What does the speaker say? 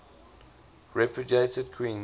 repudiated queens